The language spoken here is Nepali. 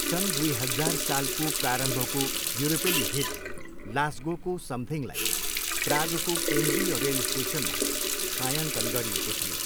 सन् दुई हजार सालको प्रारम्भको युरोपेली हिट लास्गोको समथिङलाई प्रागको केन्द्रीय रेल स्टेसनमा छायाङ्कन गरिएको थियो।